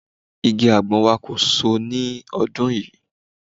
Igi àgbọn wa kò so ní ọdún yìí